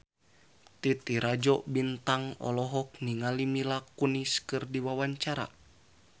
Titi Rajo Bintang olohok ningali Mila Kunis keur diwawancara